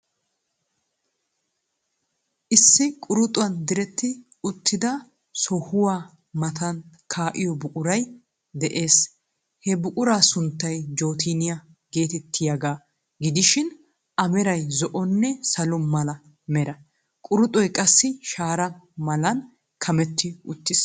Issi quruxuwan diretti uttida sohuwa matam kaa'iyo buquray de'ees. He buquraa sunttay jooteeniya geeteettiyaaga gidishi A meray zo'onne salo mala mera. Quruxoy qassi shara malan kametti uttiis.